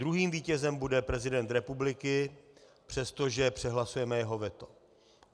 Druhým vítězem bude prezident republiky, přestože přehlasujeme jeho veto.